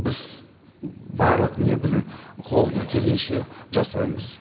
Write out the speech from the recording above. біз барлық не біздің қолымыздан келгенше жасаймыз